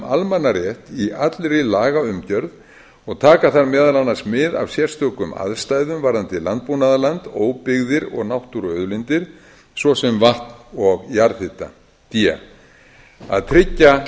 almannarétt í allri lagaumgjörð og taka þar meðal annars mið af sérstökum aðstæðum varðandi landbúnaðarland óbyggðir og náttúruauðlindir d að tryggja